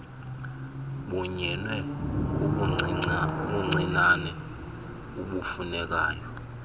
kunyinwe kubuncinane ubufunekayo